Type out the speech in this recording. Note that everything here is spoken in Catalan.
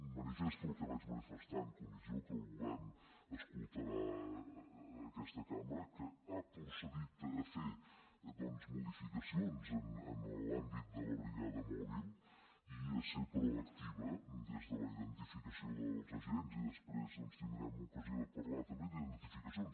manifesto el que vaig manifestar en comissió que el govern escoltarà aquesta cambra que ha procedit a fer doncs modificacions en l’àmbit de la brigada mòbil i a ser proactiva des de la identificació dels agents i després tindrem ocasió de parlar també d’identificacions